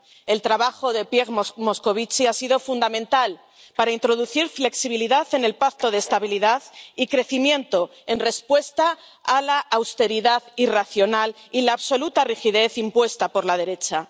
El trabajo de Pierre Moscovici ha sido fundamental para introducir flexibilidad en el Pacto de Estabilidad y Crecimiento, en respuesta a la austeridad irracional y la absoluta rigidez impuesta por la derecha.